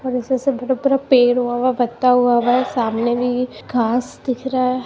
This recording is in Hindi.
पेड़ हुआ है। पता हुआ है। सामने इ घास दिख रहा है।